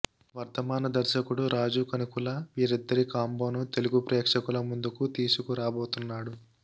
వర్ధమాన దర్శకుడు రాజు కనుకుల వీరిద్దరి కాంబోను తెలుగు ప్రేక్షకుల ముందుకు తీసుకు రాబోతున్నాడు